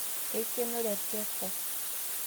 Keikeno rekreko